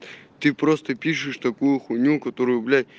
ты просто пишешь такую хуйню которую блять